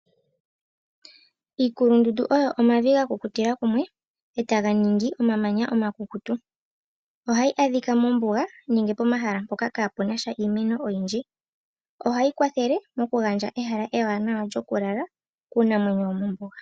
Iikulundundu oyo omavi gakukutila kumwe etaga ningi omamanya omakukutu. Ohayi adhika mombuga nenge pomahala mpoka kaapuna sha iimeno oyindji. Ohayi kwathele mokugandja ehala ewanawa lyokulala kuunamwenyo womombuga.